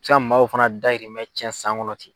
Sinka maaw fana dayirimɛ tiɲɛ san kɔnɔ ten.